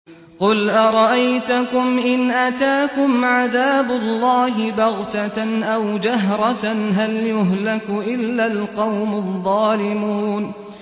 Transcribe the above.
قُلْ أَرَأَيْتَكُمْ إِنْ أَتَاكُمْ عَذَابُ اللَّهِ بَغْتَةً أَوْ جَهْرَةً هَلْ يُهْلَكُ إِلَّا الْقَوْمُ الظَّالِمُونَ